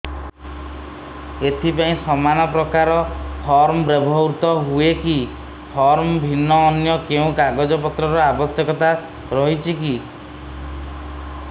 ଏଥିପାଇଁ ସମାନପ୍ରକାର ଫର୍ମ ବ୍ୟବହୃତ ହୂଏକି ଫର୍ମ ଭିନ୍ନ ଅନ୍ୟ କେଉଁ କାଗଜପତ୍ରର ଆବଶ୍ୟକତା ରହିଛିକି